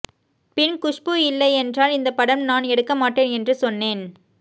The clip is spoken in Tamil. பின் குஷ்பு இல்லையென்றால் இந்த படம் நான் எடுக்க மாட்டேன் என்று சொன்னேன்